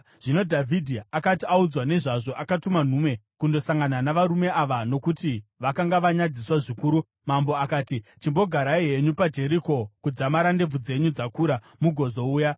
Zvino Dhavhidhi akati audzwa nezvazvo, akatuma nhume kundosangana navarume ava, nokuti vakanga vanyadziswa zvikuru. Mambo akati, “Chimbogarai henyu paJeriko kudzamara ndebvu dzenyu dzakura, mugozouya.”